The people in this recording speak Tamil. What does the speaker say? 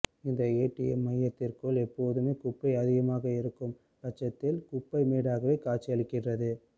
இந்த ஏடிஎம் மையத்திற்குள் எப்போதுமே குப்பை அதிகமாக இருக்கும் பட்சத்தில் குப்பை மேடாகவே காட்சியளிக்கிறது